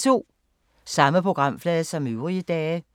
Samme programflade som øvrige dage